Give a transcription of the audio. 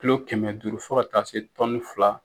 Kulu kɛmɛ duuru fɔ ka taa se fila.